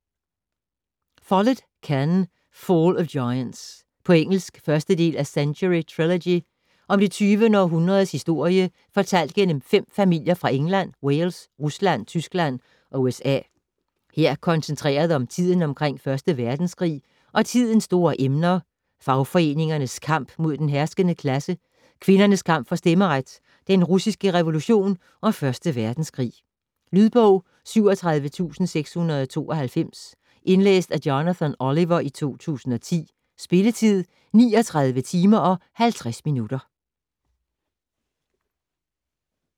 Follett, Ken: Fall of giants På engelsk. 1. del af Century trilogy. Om det 20. århundredes historie fortalt gennem 5 familier fra England, Wales, Rusland, Tyskland og USA. Her koncentreret om tiden omkring 1. verdenskrig, og tidens store emner: fagforeningernes kamp mod den herskende klasse, kvinders kamp for stemmeret, den russiske revolution og første verdenskrig. Lydbog 37692 Indlæst af Jonathan Oliver, 2010. Spilletid: 39 timer, 50 minutter.